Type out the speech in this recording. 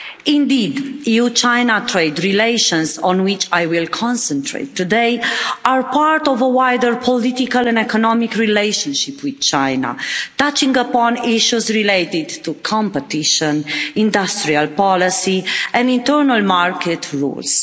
Indeed, EU-China trade relations, on which I will concentrate today, are part of a wider political and economic relationship with China, touching upon issues relating to competition, industrial policy and internal market rules.